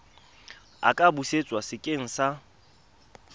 a ka busetswa sekeng sa